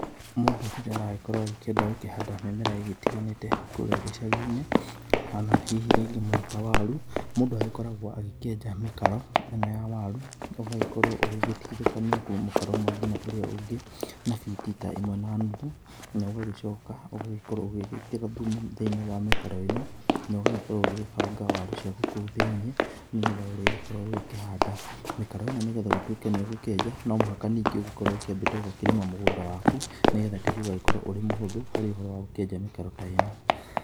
Mũndũ rĩrĩa aragĩkorwo agĩkĩenda gũkĩhanda mĩmera ĩgĩtiganĩte kũrĩa gicagi-inĩ, ona hihi rĩngĩ mũno ta waru mũndũ agĩkoragwo agĩkĩenja mĩkaro ĩno ya waru, ũgagĩkorwo ũgĩgĩtigithũkania kuma mũkaro ũmwe ngina ũrĩa ũngĩ, na biti ta ĩmwe na nuthu, na ũgagĩcoka ũgagĩkorwo ũgĩgĩkĩra thumu thĩinĩ wa mĩkaro ĩno, na ũgagĩkorwo ũgĩgĩbanga waru ciaku kũu thĩinĩ nĩ getha ũrĩgĩkorwo ũgĩkĩhanda. Mĩkaro ino nĩ getha gũtuĩke nĩ ũgũkĩenja no mũhaka ningĩ ũkorwo ũkĩambĩte gũkĩrĩma mũgũnda waku nĩ getha tĩri ũgagĩkorwo ũrĩ mũhũthũ harĩ ũhoro wa gũkĩenja mĩkaro ta ĩno.